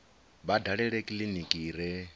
vha dalele kiliniki i re